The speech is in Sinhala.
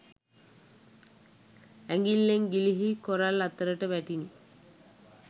ඇඟිල්ලෙන් ගිලිහී කොරල් අතරට වැටිණ